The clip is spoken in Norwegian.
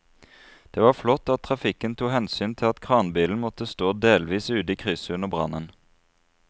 Det var flott at trafikken tok hensyn til at kranbilen måtte stå delvis ute i krysset under brannen.